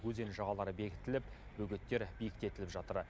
өзен жағалары бекітіліп бөгеттер биіктетіліп жатыр